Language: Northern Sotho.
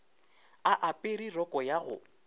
a apere roko ya go